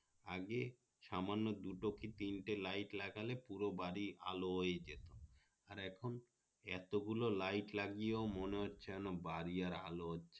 আগে সামান্য দুটো কি তিনটে light লাগালে পুরো বাড়ি আলো হয়ে যেত আর এখন এত গুলো light লাগিয়ে ও মনে হচ্ছে বাড়ি আর আলো হচ্ছে না